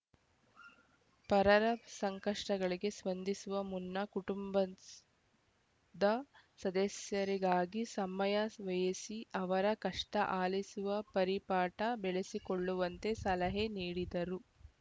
ಪರರ ಸಂಕಷ್ಟಗಳಿಗೆ ಸ್ಪಂದಿಸುವ ಮುನ್ನ ಕುಟುಂಬಸ್ ದ ಸದಸ್ಯರಿಗಾಗಿ ಸಮಯ ವ್ಯಯಿಸಿ ಅವರ ಕಷ್ಟಆಲಿಸುವ ಪರಿಪಾಠ ಬೆಳೆಸಿಕೊಳ್ಳುವಂತೆ ಸಲಹೆ ನೀಡಿದರು